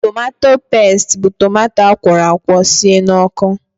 Tomato pestị bụ tomato akwọrọ akwọ sie n'ọkụ.